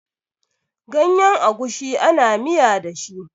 Ganyen agushi ana miya da shi.